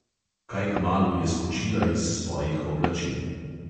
Kaj kmalu je skočila iz svojih oblačil.